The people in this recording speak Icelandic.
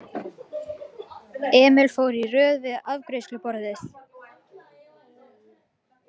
Emil fór í röð við afgreiðsluborðið.